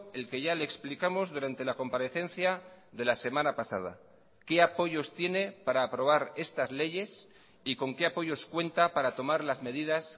el que ya le explicamos durante la comparecencia de la semana pasada qué apoyos tiene para aprobar estas leyes y con qué apoyos cuenta para tomar las medidas